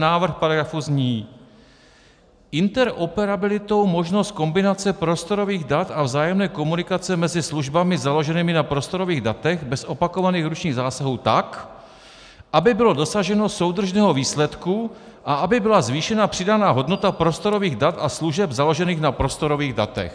Návrh paragrafu zní: "interoperabilitou možnost kombinace prostorových dat a vzájemné komunikace mezi službami založenými na prostorových datech bez opakovaných ručních zásahů tak, aby bylo dosaženo soudržného výsledku a aby byla zvýšena přidaná hodnota prostorových dat a služeb založených na prostorových datech".